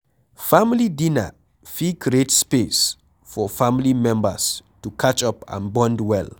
Family dinner fit create space for family members to catch up and bond well